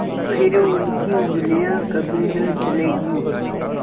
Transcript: फिर उनकी उँगलियाँ कभी न जलेंगी